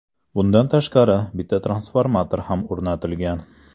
Bundan tashqari, bitta transformator ham o‘rnatilgan.